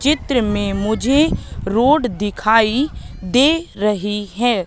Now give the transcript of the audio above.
चित्र में मुझे रोड दिखाइ दे रही है।